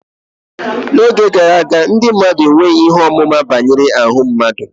n'oge gara aga, ndị mmadụ enweghị ihe ọmụma banyere ahụ mmadụ